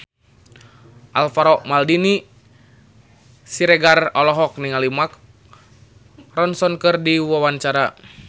Alvaro Maldini Siregar olohok ningali Mark Ronson keur diwawancara